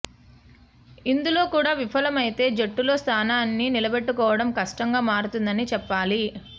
ఇందులో కూడా విఫలమైతే జట్టులో స్థానాన్ని నిలబెట్టుకోవడం కష్టంగా మారుతుందని చెప్పాలి